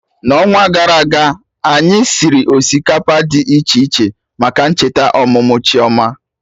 Na onwa gara aga anyị siri osikapa dị iche iche maka ncheta ọmụmụ Chioma